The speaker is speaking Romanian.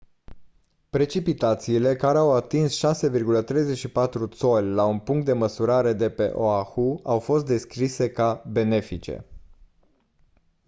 precipitațiile care au atins 6,34 țoli la un punct de măsurare de pe oahu au fost descrise ca «benefice».